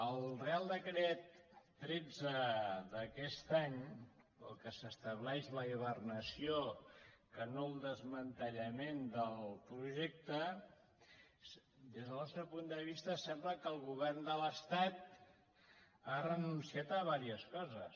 al reial decret tretze d’aquest any pel qual s’estableix la hivernació que no el desmantellament del projec·te des del nostre punt de vista sembla que el govern de l’estat ha renunciat a diverses coses